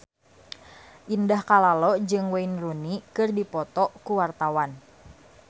Indah Kalalo jeung Wayne Rooney keur dipoto ku wartawan